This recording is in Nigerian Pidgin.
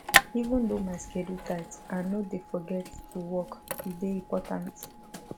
even though my schedule tight i no dey forget to walk e dey important